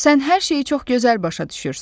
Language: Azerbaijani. Sən hər şeyi çox gözəl başa düşürsən.